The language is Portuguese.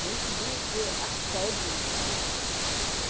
Gente de de assédio, sabe?